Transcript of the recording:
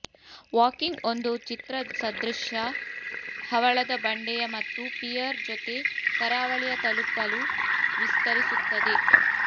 walking ಒಂದು ಚಿತ್ರಸದೃಶ ಹವಳದ ಬಂಡೆಯ ಮತ್ತು ಪಿಯರ್ ಜೊತೆ ಕರಾವಳಿಯ ತಲುಪಲು ವಿಸ್ತರಿಸುತ್ತದೆ